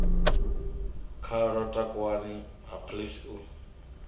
khalo takuwani ha please u